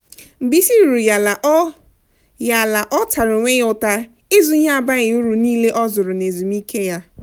mgbe isi ruru ya ala ọ ya ala ọ tara onwe ya ụta ịzụ ihe abaghi uru niile o zụrụ na ezumike ya.